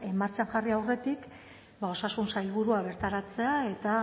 martxan jarri aurretik ba osasun sailburua bertaratzea eta